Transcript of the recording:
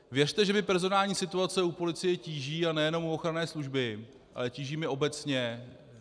Věřte, že mě personální situace u policie tíží, a nejenom u ochranné služby, ale tíží mě obecně.